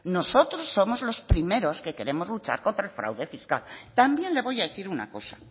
nosotros somos los primero que queremos luchar contra el fraude fiscal también le voy a decir una cosa